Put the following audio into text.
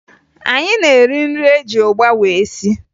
Anyị na-eri nri eji ụgba wee sie